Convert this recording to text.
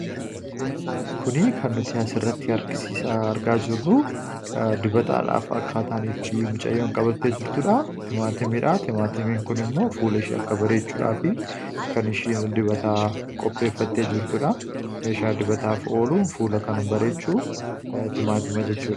Kuni kan nuti as irratti argisiisaa argaa jirru dibbataadhaaf akkaataan itti mucayyoon qabattee jirtuudha. Timaatimiidha. Timaatimiin kun immoo fuula ishii akka bareechuudhaa fi kan ishiin dibata qoppeeffatte jirtuudha. Meeshaa dibataaf ooluu fuula kan bareechuu timaatima jechuudha.